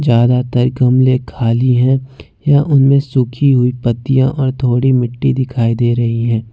ज्यादातर गमले खाली है या उनमें सूखी हुई पत्तियों और थोड़ी मिट्टी दिखाई दे रही है।